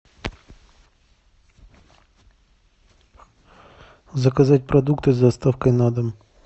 заказать продукты с доставкой на дом